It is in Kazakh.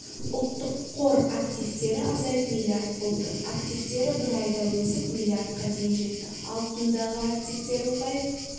ұлттық қор активтері азайып миллиард болды активтері бір айда өсіп миллиардқа дейін жетті алтындағы активтері ұлғайып